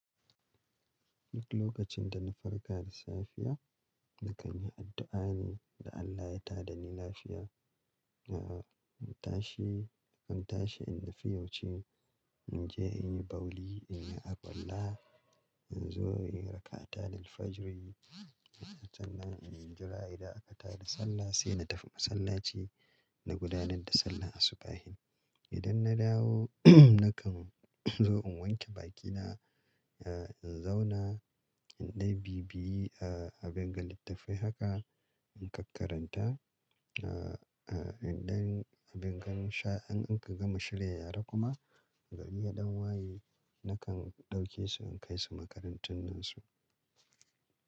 Duk lokacin da na farka da safiya, na kan yi addu'a ne da Allah ya tada ni lafiya. Aa, in tashi, in tashi in nufi waje in je in yi bawli, in yi alwalla, in zo in yi raka'atan al-fajri. Can nan in jira idan aka tada sallah sai na tafi masallaci na gudanar da sallan asubahin. Idan na dawo, nakan zo in wanke bakina, eh in zauna, indan bibiyi a abinga littafai haka in kakkaranta. Ah, indan abingan sha in an ka gama shirya yara kuma, gari ya ɗan waye nakan ɗauke su in kai su makarantun su.